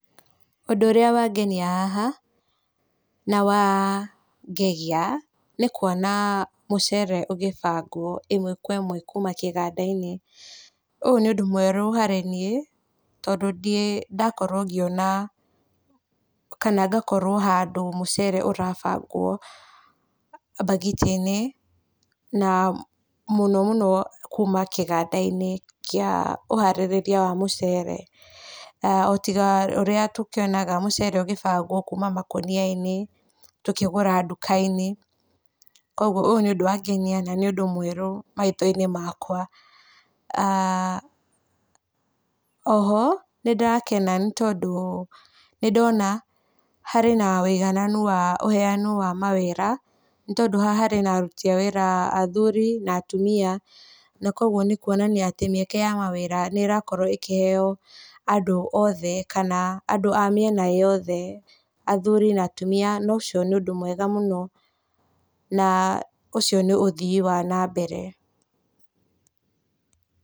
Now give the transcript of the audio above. Ũndũ ũrĩa wangenia haha na wangegia nĩ kwona mũcere ũgĩbangwo ĩmwe kwa ĩmwe kuma kĩganda-inĩ, ũyũ nĩ ũndũ mwerũ harĩ niĩ tondũ ndirĩ ndakorwo ngĩona kana ngakorwo handũ mũcere ũrahandwo mbagiti-inĩ na mũno mũno kuma kĩganda-inĩ kĩa ũharĩria wa mũcere, o tiga ũrĩa tũkĩonaga mũcere ũgĩbangwo kuma makonia-inĩ tũkĩgũra duka-inĩ, ũyũ nĩ ũndũ na nĩ ũndũ mwerũ maitho-inĩ makwa, aah oho nĩ ndakena nĩ tondũ nĩ ndona harĩ woigananu wa ũheanu wa mawĩra nĩ tondũ haha harĩ na aruti a wĩra a athuri na atumia , na kwoguo nĩ kwonania atĩ mĩeke ya mawĩra nĩ ĩrakorwo ĩkĩheo andũ othe kana andũ a mĩena yothe, athuri na atumia na ũcio nĩ ũndũ mwega mũno na ũcio nĩ ũthomi wa na mbere.